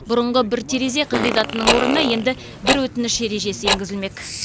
бұрынғы бір терезе қағидатының орнына енді бір өтініш ережесі енгізілмек